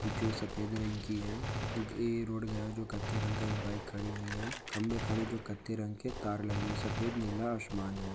जो सफ़ेद रंग की है गी रोड ग जो कत्ते रंग का एक बाइक खड़ी हुई है खंबे खड़ी जो कत्ते रंग के तार लगे और सफ़ेद नीला आशमान है